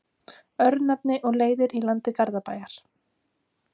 Örnefni og leiðir í landi Garðabæjar.